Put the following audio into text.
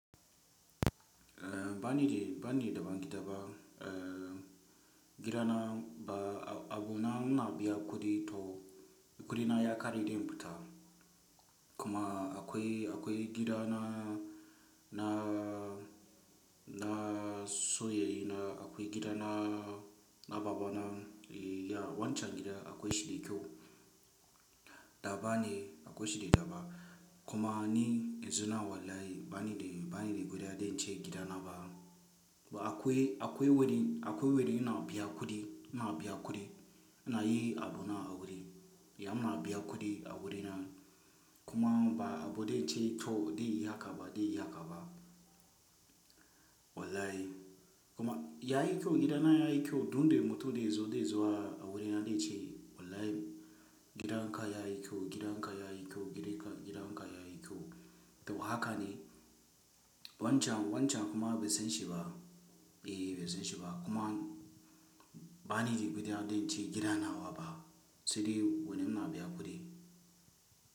Eh bani de, bani da ban gida ba. Eh gida na ba abu na, muna biya kuɗi to, kuɗi na ya ƙare dai in fita. Kuma akwai, akwai gida na, na, na soyayya na akwai gida na, na baba na. Wancan gida akwai shi kyau. Daba ne akwai shi da daba. Kuma ni yanzu na wallahi bani da, bani da kuɗi dan ce gida na ba. Ba akwai, akwai wuri, akwai wurin na biya kuɗi, muna biya kuɗi na yi abu na a wurin. Ya na biya kuɗi a wurina. Kuma ba abu da in ce kyau dai ya kaba dai ya kaba. Wallahi kuma yayi kyau gida na yayi kyau duk dai mutum dai zo dai zuwa a wurina dai ce wallahi gidan ka yayi kyau, gidan ka yayi kyau, gidan ka yayi kyau. To haka ne, wancan wancan kuma bai san shi ba. Eh bai san shi ba kuma bani da kuɗi adon ce gida nawa ba, sai dai wurin muna biya kuɗi.